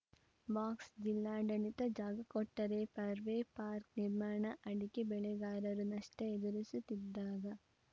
box ಜಿಲ್ಲಾಡಳಿತ ಜಾಗ ಕೊಟ್ಟರೆ ಪರ್ವೆ ಪಾರ್ಕ್ ನಿರ್ಮಾಣ ಅಡಕೆ ಬೆಳೆಗಾರರು ನಷ್ಟಎದುರಿಸುತ್ತಿದ್ದಾಗ